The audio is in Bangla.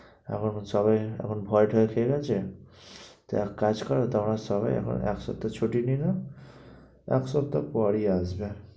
এখন সবাই এখন ভয় টয় খেয়ে গেছে। তো এক কাজ কর, তোমরা সবাই এখন এক সপ্তাহ ছুটি নিয়ে নাও। এক সপ্তাহ পরেই আসবে।